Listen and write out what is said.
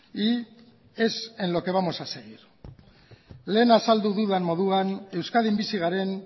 y es en lo que vamos a seguir lehen azaldu dudan moduan euskadin bizi garen